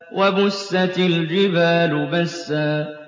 وَبُسَّتِ الْجِبَالُ بَسًّا